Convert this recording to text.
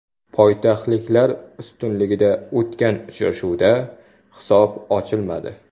Poytaxtliklar ustunligida o‘tgan uchrashuvda hisob ochilmadi.